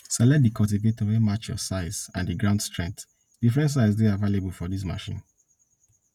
select di cultivator wey match your size and di ground strength different sizes dey available for dis machine